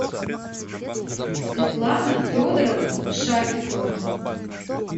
светлана федоровна шафикова